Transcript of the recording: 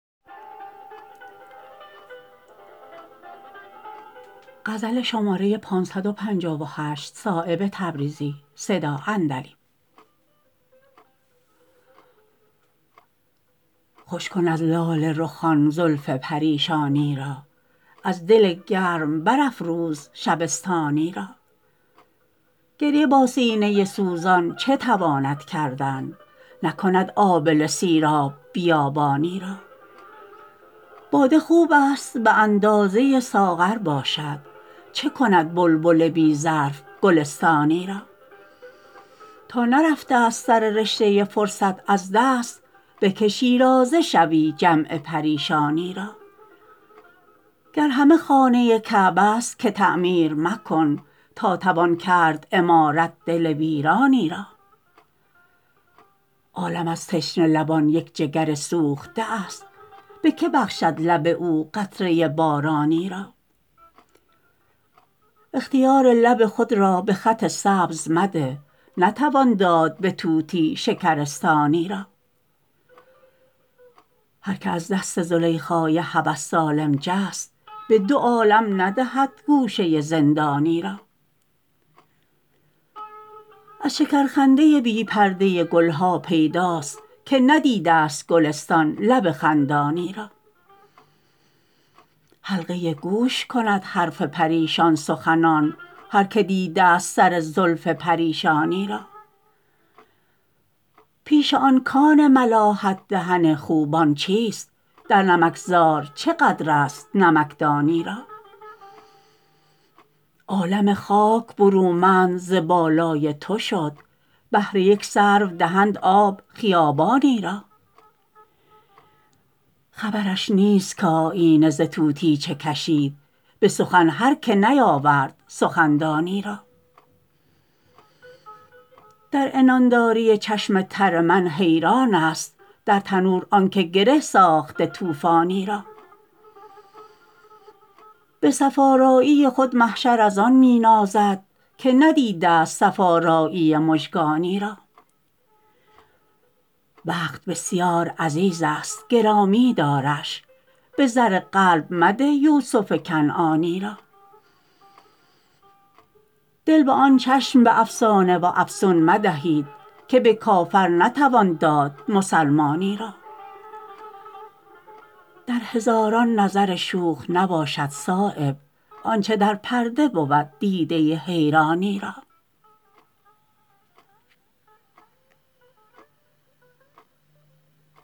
خوش کن از لاله رخان زلف پریشانی را از دل گرم برافروز شبستانی را گریه با سینه سوزان چه تواند کردن نکند آبله سیراب بیابانی را باده خوب است به اندازه ساغر باشد چه کند بلبل بی ظرف گلستانی را تا نرفته است سر رشته فرصت از دست به که شیرازه شوی جمع پریشانی را گر همه خانه کعبه است که تعمیر مکن تا توان کرد عمارت دل ویرانی را عالم از تشنه لبان یک جگر سوخته است به که بخشد لب او قطره بارانی را اختیار لب خود را به خط سبز مده نتوان داد به طوطی شکرستانی را هر که از دست زلیخای هوس سالم جست به دو عالم ندهد گوشه زندانی را از شکرخنده بی پرده گلها پیداست که ندیده است گلستان لب خندانی را حلقه گوش کند حرف پریشان سخنان هر که دیده است سر زلف پریشانی را پیش آن کان ملاحت دهن خوبان چیست در نمکزار چه قدرست نمکدانی را عالم خاک برومند ز بالای تو شد بهر یک سرو دهند آب خیابانی را خبرش نیست که آیینه ز طوطی چه کشید به سخن هر که نیاورد سخندانی را در عنانداری چشم تر من حیران است در تنور آن که گره ساخته طوفانی را به صف آرایی خود محشر ازان می نازد که ندیده است صف آرایی مژگانی را وقت بسیار عزیزست گرامی دارش به زر قلب مده یوسف کنعانی را دل به آن چشم به افسانه و افسون مدهید که به کافر نتوان داد مسلمانی را در هزاران نظر شوخ نباشد صایب آنچه در پرده بود دیده حیرانی را